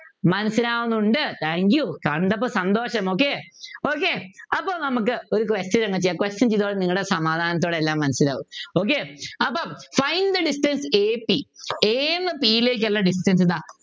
മനസ്സിലാവുന്നുണ്ട് Thank you കണ്ടപ്പോ സന്തോഷം Okay Okay അപ്പൊ നമുക്ക് ഒരു question അങ് ചെയ്യാ question ചെയ്താൽ നിങ്ങളു സമാധാനത്തോടെ എല്ലാം മനസിലാവും Okay അപ്പൊ Find the distance AP A ന്നു P ലേക്കുള്ള distance ഇതാ